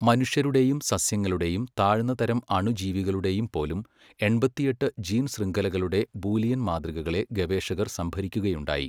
മനുഷ്യരുടെയും സസ്യങ്ങളുടെയും താഴ്ന്നതരം അണുജീവികളുടെയുംപോലും, എൺപത്തിയെട്ട് ജീൻശൃംഖലകളുടെ ബൂലിയൻ മാതൃകകളെ ഗവേഷകർ സംഭരിക്കുകയുണ്ടായി.